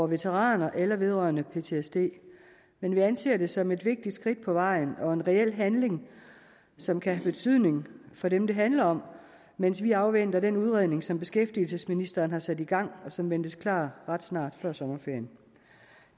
veteraner eller vedrørende ptsd men vi anser det som et vigtigt skridt på vejen og en reel handling som kan have betydning for dem der handler om mens vi afventer den udredning som beskæftigelsesministeren har sat i gang og som ventes klar ret snart nemlig før sommerferien